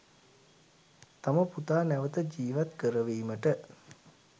තම පුතා නැවත ජීවත් කරවීමට